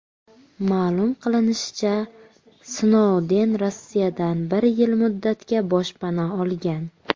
Ma’lum qilinishicha, Snouden Rossiyadan bir yil muddatga boshpana olgan.